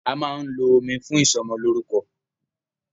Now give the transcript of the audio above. A máa ń lo omi fún ìsọmọlórúkọ.